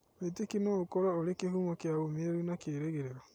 Wĩĩtĩkio no ũkorũo ũrĩ kĩhumo kĩa ũũmĩrĩru na kĩĩrĩgĩrĩro.